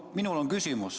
Minul on küsimus.